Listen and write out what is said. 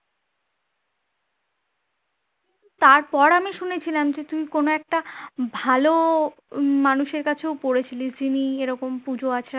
তারপর আমি শুনেছিলাম যে তুই কোনো একটা ভালো মানুষের কাছেও পড়েছিলি যিনি এরকম পূজো আচড়া